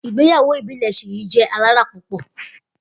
Igbeyawo ibile Seyi jẹ alara pupọ.